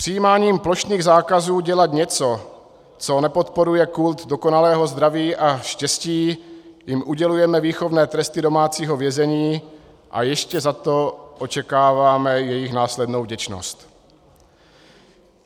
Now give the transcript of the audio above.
Přijímáním plošných zákazů dělat něco, co nepodporuje kult dokonalého zdraví a štěstí, jim udělujeme výchovné tresty domácího vězení a ještě za to očekáváme jejich následnou vděčnost.